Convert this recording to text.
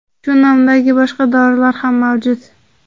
Shu nomdagi boshqa dorilar ham mavjud.